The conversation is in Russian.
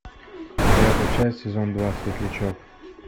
девятая часть сезон два светлячок